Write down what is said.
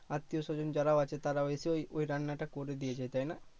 আত্মীয় স্বজন যারাও আছে তারাও এসে ওই রান্না টা করে দিয়ে যায় তাইনা?